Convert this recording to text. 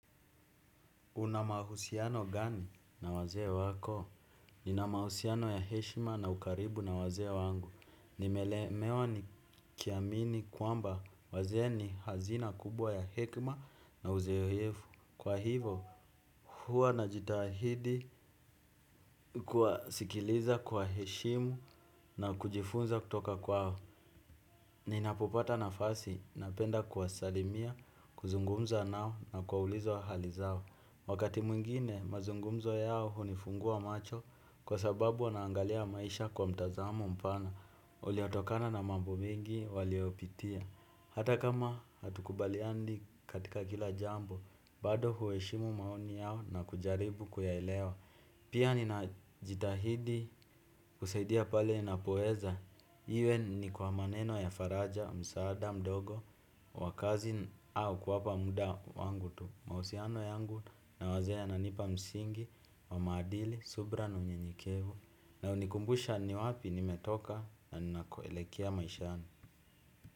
Una mahusiano gani na waze wako? Nina mahusiano ya heshima na ukaribu na waze wangu. Nimelemewa nikiamini kwamba wazee ni hazina kubwa ya hekma na uzeo hefu. Kwa hivo, huwa najitahidi kuwasikiliza kwa heshimu na kujifunza kutoka kwao. Ninapopata nafasi, napenda kuwasalimia, kuzungumza nao na kwaulizwa hali zao. Wakati mwingine mazungumzo yao hunifungua macho kwa sababu wanaangalia maisha kwa mtazamo mpana uliotokana na mambo mengi waliyopitia. Hata kama hatukubaliandi katika kila jambo, bado huweshimu maoni yao na kujaribu kuyaelewa. Pia ninajitahidi kusaidia pale ninapoeza iwe ni kwa maneno ya faraja, msaada, mdogo, wa kazi au kuwapa muda wangu tu. Mausiano yangu na wazee yananipa msingi wa maadili, subra na unyenyekevu na unikumbusha ni wapi nimetoka na ninakoelekea maishani.